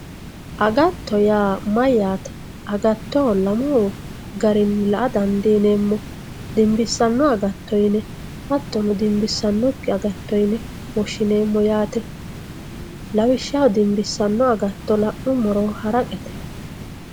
agatto yaa mayyate agatto lamu garinni la''a dandiineemmo dinbissanno agatto yine hattono dimbissannokki yine woshshineemmo yaate lawishshaho dimbissanno agatto la'nummoro haraqete.